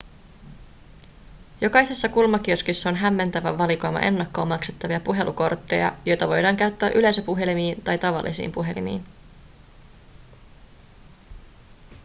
jokaisessa kulmakioskissa on hämmentävä valikoima ennakkoon maksettavia puhelukortteja joita voidaan käyttää yleisöpuhelimiin tai tavallisiin puhelimiin